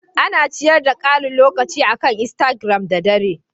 Ina ciyar da karin lokaci akan Instigiram da dare.